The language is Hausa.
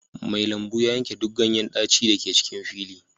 Mai lambu ya yanke duk ganyen daci da ke cikin fili